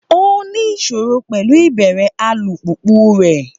Ó ní ìṣòro pẹ̀lú ìbẹ̀rẹ̀ alùpùpù rẹ̀.